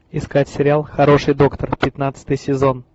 искать сериал хороший доктор пятнадцатый сезон